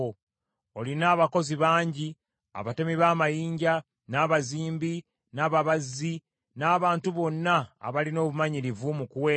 Olina abakozi bangi; abatemi b’amayinja, n’abazimbi, n’ababazzi, n’abantu bonna abalina obumanyirivu mu kuweesa